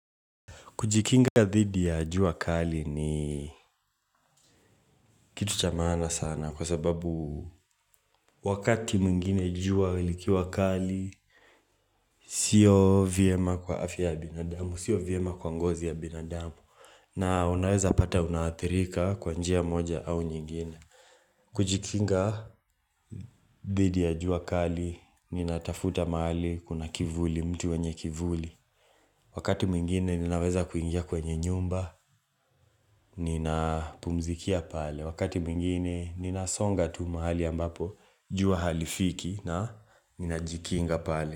Kujikinga dhidi ya jua kali ni kitu cha maana sana kwa sababu wakati mwingine jua likiwa kali, siyo vyema kwa afya ya binadamu, siyo vyema kwa ngozi ya binadamu. Na unaweza pata unaathirika kwa njia moja au nyingine. Kujikinga dhidi ya jua kali, ninatafuta mahali, kuna kivuli, mti wenye kivuli. Wakati mwingine ninaweza kuingia kwenye nyumba, nina pumzikia pale Wakati mwingine ninasonga tu mahali ambapo, jua halifiki na ninajikinga pale.